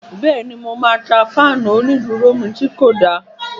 Bẹ́ẹ̀ni, mo máa ta fáànù onídúró mi tí kò da